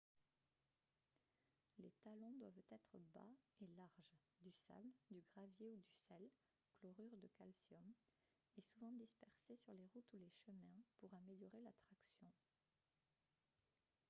les talons doivent être bas et larges. du sable du gravier ou du sel chlorure de calcium est souvent dispersé sur les routes ou les chemins pour améliorer la traction